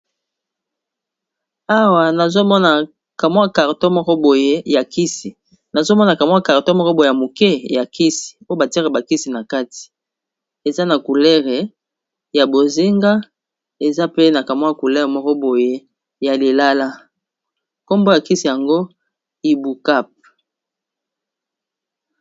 Awa nazomona carton ya kisi ya komela, kombo ya kisi eza ibukap